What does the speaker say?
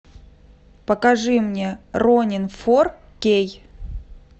покажи мне ронин фор кей